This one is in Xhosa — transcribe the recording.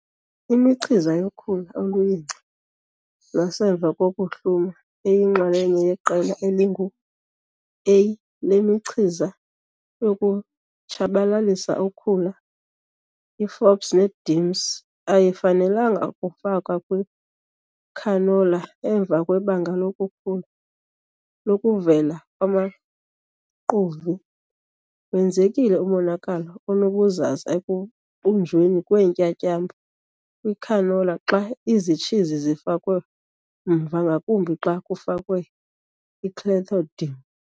Imichiza yokhula oluyingca lwasemva kokuhluma eyinxalenye yeqela elingu-A lemichiza yokutshabalalisa ukhula, i-fops ne-dims, AYIFANELANGA KUFAKWA KWICANOLA EMVA KWEBANGA LOKUKHULA LOKUVELA KWAMAQUVI. Wenzekile umonakalo onobuzaza ekubunjweni kweentyatyambo kwicanola xa izitshizi zifakwe mva ngakumbi xa kufakwe iClethodim.